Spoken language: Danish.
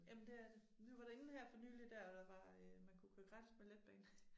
Jamen det er det. Vi var derinde her for nylig dér der var øh man kunne køre gratis med Letbanen